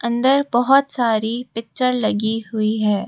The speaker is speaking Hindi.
अंदर बहुत सारी पिक्चर लगी हुई है।